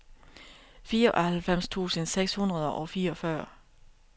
fireoghalvfems tusind seks hundrede og fireogfyrre